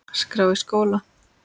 skrá í skóla?